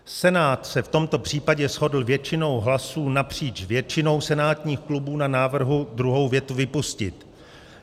Senát se v tomto případě shodl většinou hlasů napříč většinou senátních klubů na návrhu druhou větu vypustit.